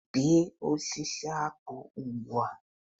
Bee osisi akpu ugbua